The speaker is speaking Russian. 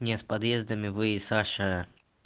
не с подъездами вы и саша